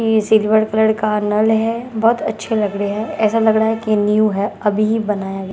ये silver colour का नल है बहुत अच्छे लग रहे हैं ऐसा लग रहा है कि न्यू है अभी भी बनाया गया--